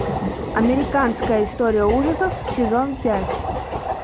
американская история ужасов сезон пять